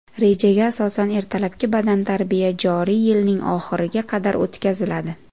Rejaga asosan, ertalabki badantarbiya joriy yilning oxiriga qadar o‘tkaziladi.